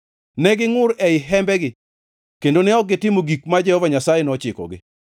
Ne gingʼur ei hembegi kendo ne ok gitimo gik ma Jehova Nyasaye nochikogi.